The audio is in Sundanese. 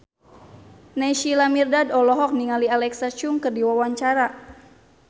Naysila Mirdad olohok ningali Alexa Chung keur diwawancara